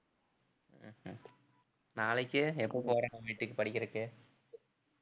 உம் ஹம் நாளைக்கு எப்ப போற அங்க வீட்டுக்கு படிக்கிறக்கு